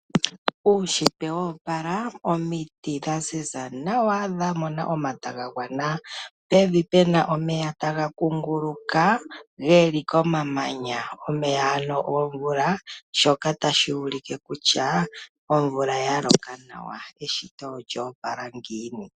Uunshitwe wo opala omiti dha ziza nawa dha mona omata ga gwana. Pevi puna omeya taga kunguluka geli komamanya. Omaya ano gomvula shoka tashi ulike kutya omvula oya loka nawa. Eshito olyo opala ngiini.